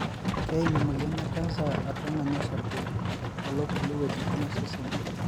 Keim emoyian ecancer atua ngonyo osarge alo kulie weujitin osesen.